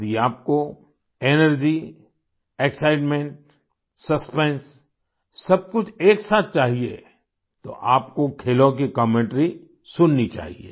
यदि आपको energy excitement suspense सब कुछ एक साथ चाहिए तो आपको खेलों की कमेंटरी सुननी चाहिए